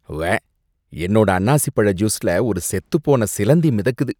உவ்வே! என்னோட அன்னாசிப்பழ ஜூஸ்ல ஒரு செத்துப் போன சிலந்தி மிதக்குது.